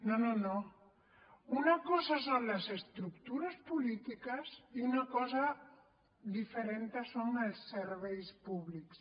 no no una cosa són les estructures polítiques i una cosa diferent són els serveis públics